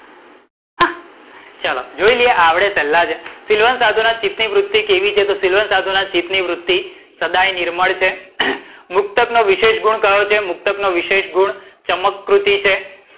ચલો જોઈ લઈએ આપડે પેલ્લા, સીલવાન સાધુના નિવૃત ની વૃત્તિ કેવી હોય છે? તો સીલવાન સાધુના નિવૃત ની વૃત્તિ સદાય નિર્મળ છે. મુક્તકનો વિશેષ ગુણ કયો છે? મુક્તકનો વિશેષ ગુણ ચમકૃતિ છે.